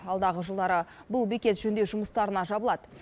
алдағы жылдары бұл бекет жөндеу жұмыстарына жабылады